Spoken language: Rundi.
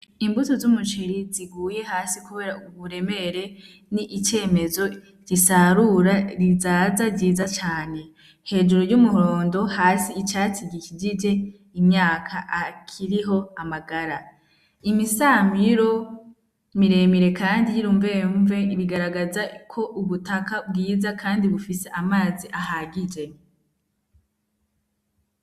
Imbuto z'umuceri ziguye hasi, kubera uburemere ni icemezo risarura rizaza ryiza cane hejuru ry'umuhondo hasi icatsi gikijije imyaka akiriho amagara imisamiro miremire, kandi yirumvemve ibigaragaza ko ubutaka bwiza, kandi bufise amazi ahagije.